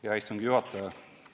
Hea istungi juhataja!